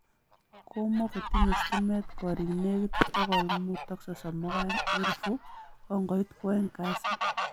Komokotinye stimet koriik negit 532,000 kongoit kwaeng kasi